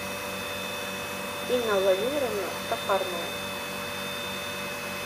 инна владимировна стахарная